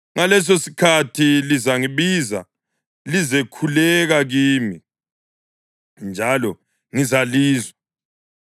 Ngalesosikhathi lizangibiza lizekhuleka kimi, njalo ngizalizwa.